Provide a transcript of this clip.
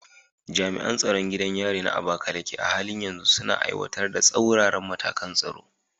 Jami’an tsaron gidan yarin na Abakaleke a halin yanzu suna aiwatar da tsauraran matakan tsaro.